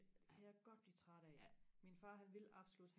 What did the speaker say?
ej jeg kan godt blive træt af min far han vil absolut